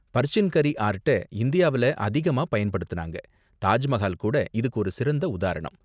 பர்சின் கரி ஆர்ட்ட இந்தியாவுல அதிகமா பயன்படுத்துனாங்க, தாஜ் மஹால் கூட இதுக்கு ஒரு சிறந்த உதாரணம்.